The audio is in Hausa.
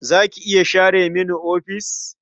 Za ki iya share mini ofis?